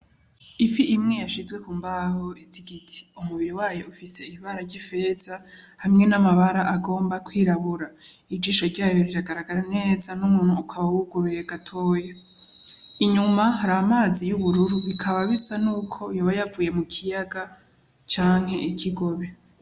Ifi imwe yashizwe kumbaho z'igiti. Umubiri wayo ufise ibara ry'ifeza hamwe n'amabara agomba kwirabura. Ijisho ryayo riragaragara neza, n'umunwa ukaba wuguruye gatoya. Inyuma Hari amazi y'ubururu bikaba bisa nkuko yoba yavuye mukiyaga canke ikigobe.